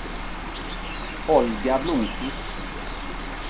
Olga Blomkvist